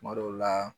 Kuma dɔw la